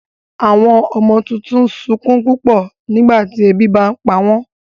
Àwọn ọmọ tuntun n sunkún pupọ nígbàtí ebi bá npa wọn